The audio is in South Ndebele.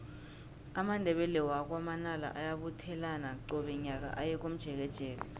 amandebele wakwa manala ayabuthelana qobe nyaka aye komjekejeke